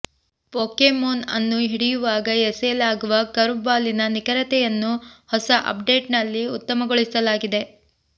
Pokémon ಅನ್ನು ಹಿಡಿಯುವಾಗ ಎಸೆಯಲಾಗುವ ಕರ್ವ್ ಬಾಲಿನ ನಿಖರತೆಯನ್ನು ಹೊಸ ಅಪ್ ಡೇಟ್ ನಲ್ಲಿ ಉತ್ತಮಗೊಳಿಸಲಾಗಿದೆ